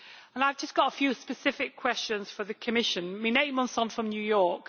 I have just got few specific questions for the Commission stemming from New York.